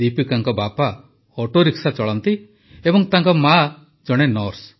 ଦୀପିକାଙ୍କ ବାପା ଅଟୋରିକ୍ସା ଚଳାନ୍ତି ଏବଂ ତାଙ୍କ ମାଆ ଜଣେ ନର୍ସ